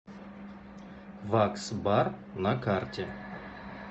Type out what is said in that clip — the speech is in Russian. вакс бар на карте